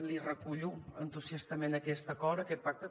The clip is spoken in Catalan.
li recullo entusiastament aquest acord aquest pacte